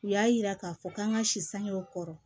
U y'a yira k'a fɔ k'an ka si sangew kɔrɔ